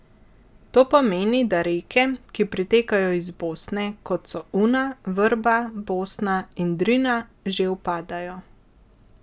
To pomeni, da reke, ki pritekajo iz Bosne, kot so Una, Vrba, Bosna in Drina, že upadajo.